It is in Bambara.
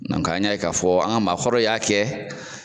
an y'a ye k'a fɔ an ka maakɔrɔw y'a kɛ.